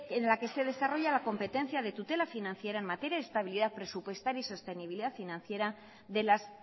en la que se desarrolla la competencia de tutela financiera en materia de estabilidad presupuestaria y sostenibilidad financiera de las